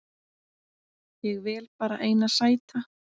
Ég vel bara eina sæta